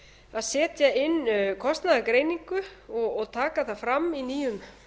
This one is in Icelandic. að setja inn kostnaðargreiningu og taka það fram í nýju